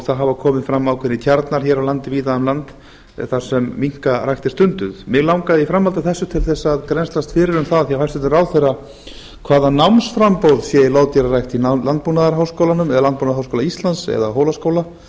það hafa komið fram ákveðnir kjarnar víða um land þar sem minkarækt er stunduð mig langar í framhaldi af þessu til þess að grennslast fyrir um það hjá hæstvirtum ráðherra hvaða námsframboð sé í loðdýrarækt í landbúnaðarháskólanum eða landbúnaðarháskóla íslands eða hólaskóla